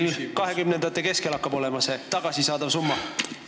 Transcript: Kui suur hakkab 2020-ndate keskel olema see tagasisaadav summa?